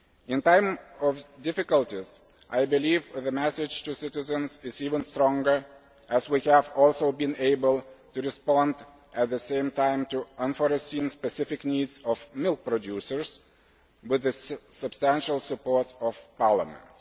In times of difficulties, I believe the message to citizens is even stronger as we have also been able to respond at the same time to the unforeseen specific needs of milk producers, with the substantial support of Parliament.